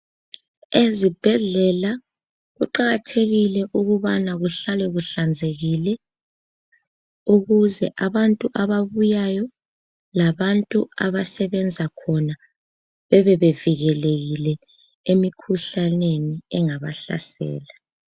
Ezibhedlela kuqakathekile ukubana kuhlale kuhlanzekile ukuze abantu ababuyayo labantu abasebenza khona bebe bevikelekile emikhuhlaneni engabahlasela.